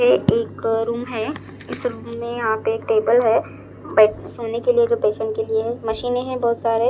ये एक रूम है। इस रूम में यहां पे एक टेबल है बेड सोने के लिए जो पेशेंट के लिए है। मशीने हैं बहुत सारे।